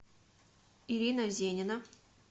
ирина зенина